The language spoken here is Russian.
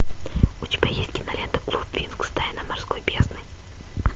у тебя есть кинолента клуб винкс тайна морской бездны